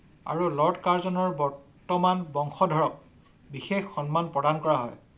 আৰু লড কাৰ্জনেৰ বৰ্তমানৰ বংশধৰক বিশেষ সন্মান প্ৰদান কৰা হয়।